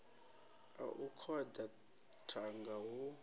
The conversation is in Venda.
a u koḓa thanga hu